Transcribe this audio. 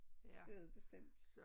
Det er det bestemt